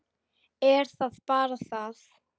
Er það bara það?